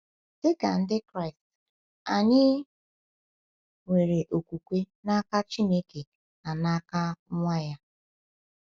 Dị ka Ndị Kraịst, anyị nwere okwukwe n’aka Chineke na n’aka Nwa ya.